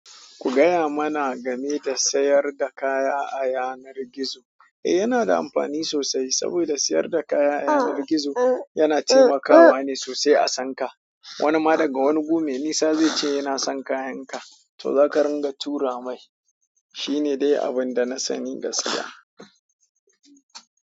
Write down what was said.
Ku gaya mana game da sayar da kaya a yanar gizo. Eh, yana da amfani sosai saboda sayar da kaya a yanar gizo yana taimakawa ne sosai a san ka. Wani ma daga wani gumai nisa zai ce yana son kayanka, to zaka ringa tura mai. Shi ne dai abin da na sani gaskiya.